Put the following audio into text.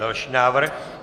Další návrh.